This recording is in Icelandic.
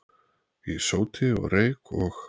í sóti og reyk og